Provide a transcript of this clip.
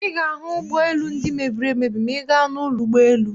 Ị ga-ahụ ụgbọelu ndị mebiri emebi ma ị gaa n'ụlọ ụgbọelu.